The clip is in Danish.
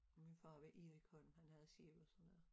Min far var Erik Holm han havde sil og sådan noget